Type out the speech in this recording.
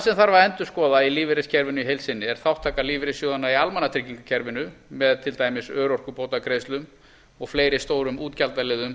sem þarf að endurskoða í lífeyriskerfinu í heild sinni er þátttaka lífeyrissjóðanna í almannatryggingakerfinu með til dæmis örorkubótagreiðslum og fleiri stórum útgjaldaliðum